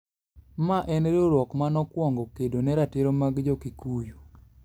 Mane en riwruok ma nokwongo kedo ne ratiro mag Jo-Kikuyu).